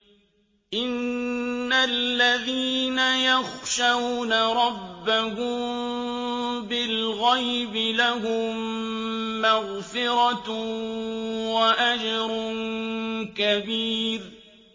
إِنَّ الَّذِينَ يَخْشَوْنَ رَبَّهُم بِالْغَيْبِ لَهُم مَّغْفِرَةٌ وَأَجْرٌ كَبِيرٌ